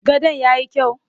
Gadon ya yi kyau?